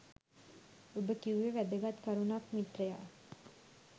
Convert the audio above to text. ඔබ කිව්වෙ වැදගත් කරුණක් මිත්‍රයා